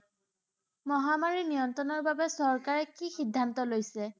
মহামাৰী নিয়ন্ত্ৰণৰ বাবে চৰকাৰে কি সিদ্ধান্ত লৈছে?